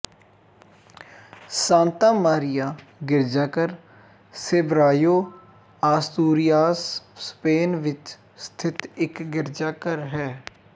Santa Maria ਗਿਰਜਾਘਰ Sebrayo Asturias Spain ਵਿੱਚ ਸਥਿਤ ਇੱਕ ਗਿਰਜਾਘਰ ਹੈ